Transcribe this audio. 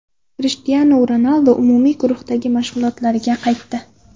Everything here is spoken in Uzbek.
Krishtianu Ronaldu umumiy guruhdagi mashg‘ulotlarga qaytdi.